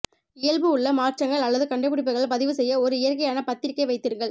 இயல்பு உள்ள மாற்றங்கள் அல்லது கண்டுபிடிப்புகள் பதிவு செய்ய ஒரு இயற்கையான பத்திரிகை வைத்திருங்கள்